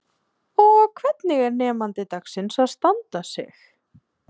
Hugrún Halldórsdóttir: Og hvernig er nemandi dagsins að standa sig?